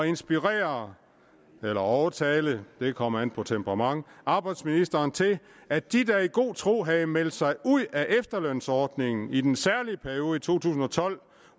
inspirere eller overtale det kommer an på temperament arbejdsministeren til at de der i god tro havde meldt sig ud af efterlønsordningen i den særlige periode i to tusind og tolv